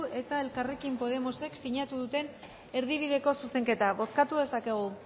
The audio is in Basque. eta elkarrekin podemosek sinatu duten erdibideko zuzenketa bozkatu dezakegu